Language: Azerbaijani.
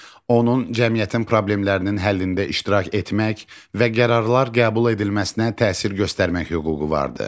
Onun cəmiyyətin problemlərinin həllində iştirak etmək və qərarlar qəbul edilməsinə təsir göstərmək hüququ vardır.